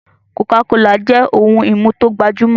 cocacola jẹ ohùn imú to gbajumọ.